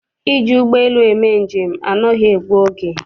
Iji ụgbọelu eme njem anaghị egbu oge.